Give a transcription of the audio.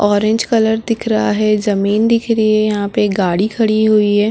Orange colour दिख रहा है जमीन दिख रही है यहाँ पे एक गाड़ी खड़ी हुई है।